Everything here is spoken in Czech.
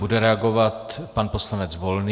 Bude reagovat pan poslanec Volný.